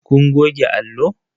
Kun goge allo?